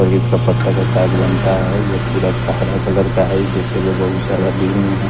इसका पत्ता का साग बनता है ये पूरा क हरा कलर का है देखते गए बहुत सारा दूर में है।